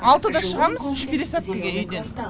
алтыда шығамыз үш пересадкіге үйден